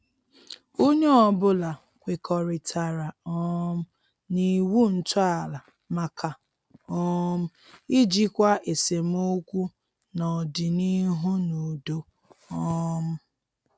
Onye ọbụla kwekọritara um na iwu ntọala maka um ijikwa esemokwu n'ọdịnihu n' udo. um